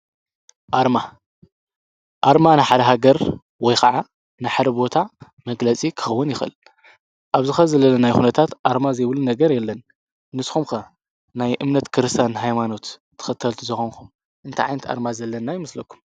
ኣርማ ኣርማ ንሓደሃገር ወይ ኸዓ ንሕደ ቦታ መግለጺ ክኸውን ይኽል ኣብዝኸ ዘለለ ናይ ኹነታት ኣርማ ዘይብሉ ነገር የለን ንስ ኹምከ ናይ እምነት ክርሳን ኃይማኖት ትኸተልቲ ዘኾንኩም እንታዓንቲ ኣርማ ዘለና ይምስለኩም።